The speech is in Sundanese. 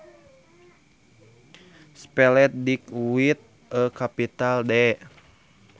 Spelled Dick with a capital D